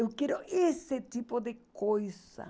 Eu quero esse tipo de coisa.